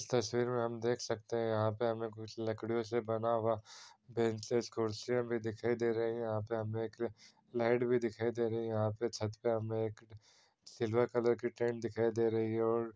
इस तस्वीर में हम देख सकते हैं यहाँ पे हमें कुछ लकड़ियों से बना हुआ बेंचेस कुर्सियां भी दिखाई दे रही हैं। यहाँ पे हमें एक लाइट भी दिखाई दे रही है। यहाँ पे छत पे हमें एक सिल्वर कलर की टेंट दिखाई दे रही है और --